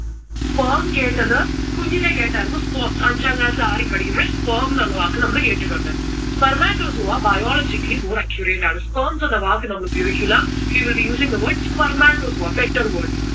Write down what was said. sperm കേട്ടത് കുഞ്ഞിലെ കേട്ടായിരുന്നു sperm അഞ്ചാം class ആറിൽ പഠിക്കുമ്പോൾ sperm എന്ന് ഉള്ള വാക്ക് നമ്മൾ കേട്ടിട്ടുണ്ട്. spermatozoa biologically more accurate ആണ്. sperms എന്ന വാക്ക് നമ്മൾ ഉപയോഗിക്കില്ല. we will be using the word spermatozoa better word.